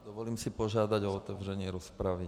Dovolím si požádat o otevření rozpravy.